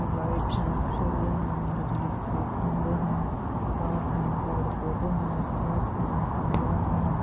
Light है सरिया है बिजली के खंभे हैं तार हैं पेड़-पौधे हैं घास हैं मैदान है।